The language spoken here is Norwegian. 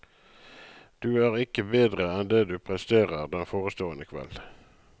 Du er ikke bedre enn det du presterer den forestående kveld.